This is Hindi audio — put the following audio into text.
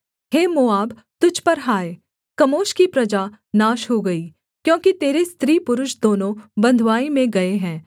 हे मोआब तुझ पर हाय कमोश की प्रजा नाश हो गई क्योंकि तेरे स्त्रीपुरुष दोनों बँधुआई में गए हैं